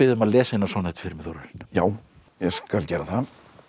um að lesa eina sonnettu fyrir mig já ég skal gera það